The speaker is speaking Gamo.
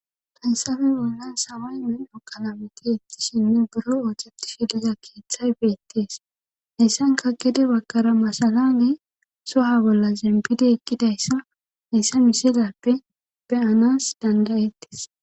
Fayssafe bollan saway men7o qalameti ettishinne buro ooceti shidiza keeththay beettees heyssan kakede bakara masalane soha bolla zempidi ekkidayssa hayssa misilappe beyanas dandayettis